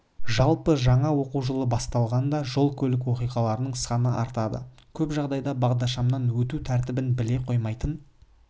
жалпы жаңа оқу жылы басталғанда жол-көлік оқиғаларының саны артады көп жағдайда бағдаршамнан өту тәртібін біле қоймайтын